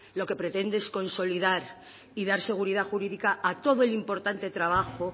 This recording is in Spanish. lo que pretende es consolidar y dar seguridad jurídica a todo el importante trabajo